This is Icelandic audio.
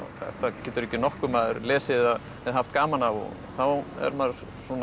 þetta getur ekki nokkur maður lesið eða haft gaman af þá er maður